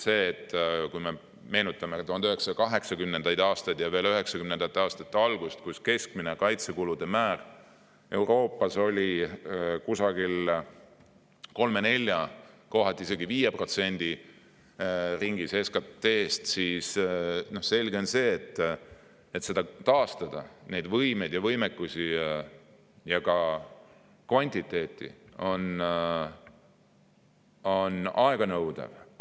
Meenutame 1980-ndaid ja 1990-ndate algust, kui keskmine kaitsekulude määr Euroopas oli 3–4%, kohati isegi 5% ringis SKT-st, seega on selge, et samasuguse võimekuse ja ka kvantiteedi taastamine nõuab palju aega.